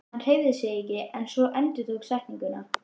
Hann hreyfði sig ekki svo hún endurtók setninguna.